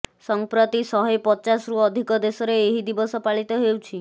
ସଂପ୍ରତି ଶହେ ପଚାଶରୁ ଅଧିକ ଦେଶରେ ଏହି ଦିବସ ପାଳିତ ହେଉଛି